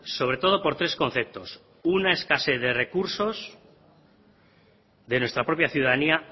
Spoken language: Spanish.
sobre todo por tres conceptos una escasez de recursos de nuestra propia ciudadanía